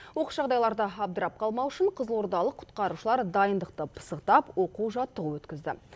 оқыс жағдайларда абдырап қалмау үшін қызылордалық құтқарушылар дайындықты пысықтап оқу жаттығу өткізді